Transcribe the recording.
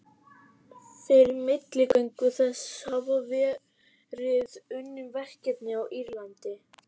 Fyrir milligöngu þess hafa verið unnin verkefni á Írlandi.